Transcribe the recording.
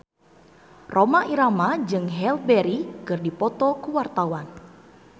Rhoma Irama jeung Halle Berry keur dipoto ku wartawan